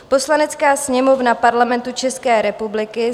"Poslanecká sněmovna Parlamentu České republiky